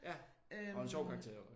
Ja. Og en sjov karakter også